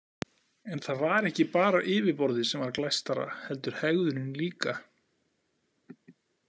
En það var ekki bara yfirborðið sem var glæstara heldur hegðunin líka.